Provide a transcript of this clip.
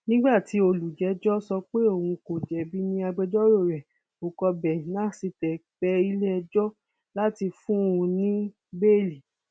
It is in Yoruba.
láìdè ọlọrun náà ni ẹni tó bá dé wà láyé yìí tó bá sì ní ìyá òun gbogbo ló ní